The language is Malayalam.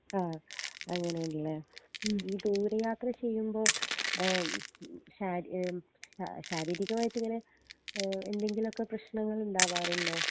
ആ അങ്ങനേണ് ലെ ദൂര യാത്ര ചെയ്യുമ്പോ ഏഹ്മ് ശാര് ഏഹ്മ് ശാ ശാരീരികമായിട്ട് ഇങ്ങനെ ഏഹ് എന്തെങ്കിലൊക്കെ പ്രേശ്നങ്ങൾ ഇണ്ടവാറ്ണ്ടോ